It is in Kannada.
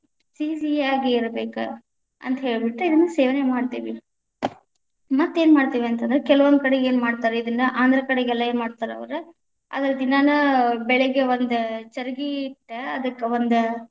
ಸಿಹಿ ಸಿಹಿಯಾಗಿ ಇರಬೇಕ, ಅಂತ ಹೇಳ್ಬಿಟ್ಟು ಇದನ್ನ ಸೇವನೆ ಮಾಡತೀವಿ ಮತ್ತ ಏನ ಮಾಡತೇವ್‌ ಅಂತ ಅಂದ್ರ ಕೆಲವೊಂದ ಕಡೆಗೆ ಏನ್‌ ಮಾಡ್ತಾರ ಇದನ್ನ ಆಂಧ್ರ ಕಡೆಗೆಲ್ಲಾ ಏನ್‌ ಮಾಡ್ತಾರ ಅವ್ರ ಅದರ್‌ ದಿನಾನ ಬೆಳಗ್ಗೆ ಒಂದ ಚರಗಿ ಇಟ್ಟ ಅದಕ್ಕ ಒಂದ.